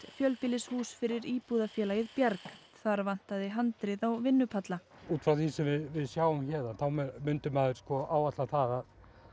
fjölbýlishús fyrir Bjarg þar vantaði handrið á vinnupalla út frá því sem við sjáum héðan myndi maður áætla það